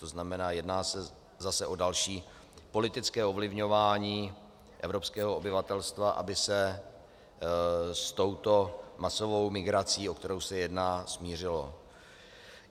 To znamená, jedná se zase o další politické ovlivňování evropského obyvatelstva, aby se s touto masovou migrací, o kterou se jedná, smířilo.